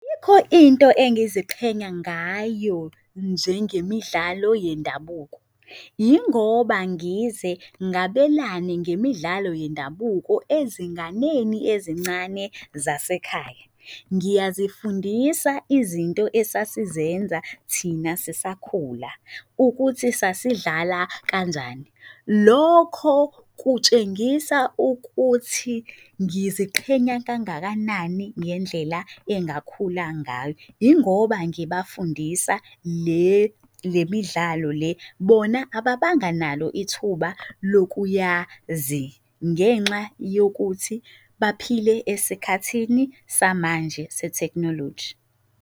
Ayikho into engiziqhenya ngayo njengemidlalo yendabuko. Yingoba ngize ngabelane ngemidlalo yendabuko ezinganeni ezincane zasekhaya. Ngiyazifundisa izinto esasizenza thina sisakhula ukuthi sasidlala kanjani. Lokho kutshengisa ukuthi ngiziqhenya kangakanani ngendlela engakhula ngayo. Yingoba ngibafundisa le, le midlalo le bona ababanga nalo ithuba lokuyazi ngenxa yokuthi baphile esikhathini samanje se-technology.